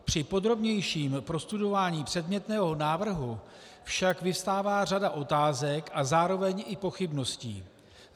Při podrobnějším prostudování předmětného návrhu však vyvstává řada otázek a zároveň i pochybností.